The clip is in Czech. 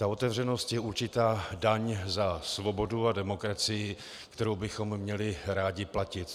Ta otevřenost je určitá daň za svobodu a demokracii, kterou bychom měli rádi platit.